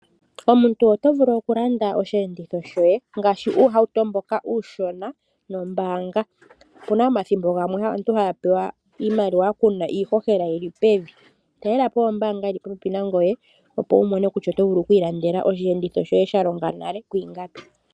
Omuntu oto vulu okulanda osheenditho shoye ngaashi uuhauto mboka uushona nombaanga. Opu na omathimbo gamwe aantu haya pewa iimaliwa ku na iihohela yi li pevi. Talela po ombaanga yi li popepi nangoye, opo wu mone kutya oto vulu okuilandela osheenditho shoye sha longa nale kwiingapi.